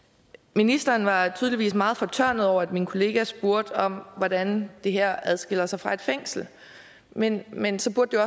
ministeren var tydeligvis meget fortørnet over at min kollega spurgte om hvordan det her adskiller sig fra et fængsel men men så burde